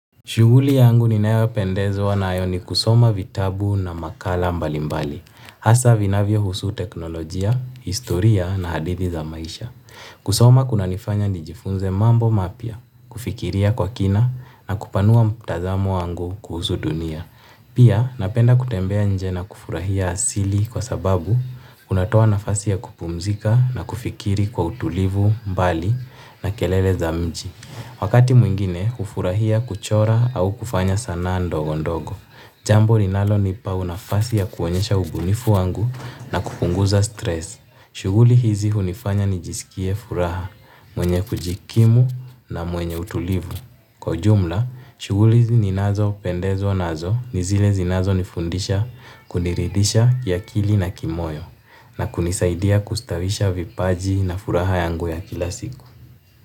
Shughuli yangu ninayopendezwa nayo ni kusoma vitabu na makala mbali mbali. Hasa vinavyohusu teknolojia, historia na hadithi za maisha. Kusoma kuna nifanya nijifunze mambo mapya, kufikiria kwa kina na kupanua mtazamo wangu kuhusu dunia. Pia napenda kutembea nje na kufurahia asili kwa sababu kunatoa nafasi ya kupumzika na kufikiri kwa utulivu mbali na kelele za mji. Wakati mwingine, hufurahia kuchora au kufanya sanaa ndogo ndogo. Jambo linalonipa nafasi ya kuonyesha ubunifu wangu na kupunguza stress. Shughuli hizi hunifanya nijisikie furaha, mwenye kujikimu na mwenye utulivu. Kwa ujumla, shughuli ninazopendezwa, nazo, ni zile zinazonifundisha kuniridisha kiakili na kimoyo na kunisaidia kustawisha vipaji na furaha yangu ya kila siku.